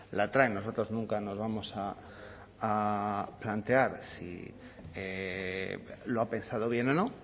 la trae nosotros nunca nos vamos a plantear si lo ha pensado bien o no